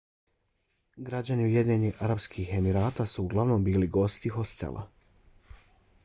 građani ujedinjenih arapskih emirata su uglavnom bili gosti hostela